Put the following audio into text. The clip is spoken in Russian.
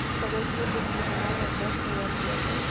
салют включи телеканал вопросы и ответы